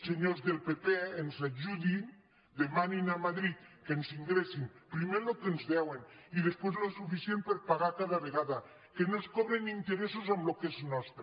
se·nyors del pp ens ajudin demanin a madrid que ens in·gressin primer el que ens deuen i després el suficient per pagar cada vegada que no ens cobrin interessos amb el que és nostre